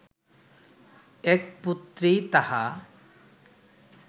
এক পুত্রেই তাহা